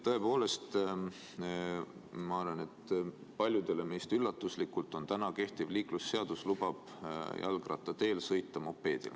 Tõepoolest, ma arvan, et paljudele meist üllatuslikult lubab täna kehtiv liiklusseadus jalgrattateel sõita ka mopeedil .